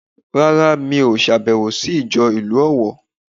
Rárá mí ò sàbèwò sí ìjọ ìlú Òwò